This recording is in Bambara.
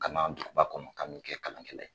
Kana duguba kɔnɔ k'an bɛ kɛ kalankɛla ye